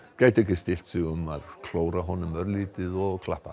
gætu ekki stillt sig um að klóra honum örlítið og klappa